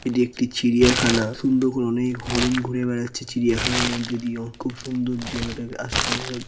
এটি একটি চিড়িয়া খানা সুন্দর করে অনেক হরিণ ঘুরে বেড়াচ্ছে চিড়িয়া খানার মধ্যে দিয়েও। খুব সুন্দর জায়গাটা কে আশেপাশে--